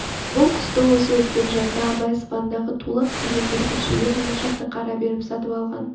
бұл құсты осы өткен жазда абай сыбандағы тулақ деген бүркітшіден оншақты қара беріп сатып алған